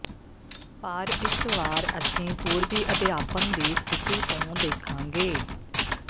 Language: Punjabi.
ਪਰ ਇਸ ਵਾਰ ਅਸੀਂ ਪੂਰਬੀ ਅਧਿਆਪਨ ਦੀ ਸਥਿਤੀ ਤੋਂ ਦੇਖਾਂਗੇ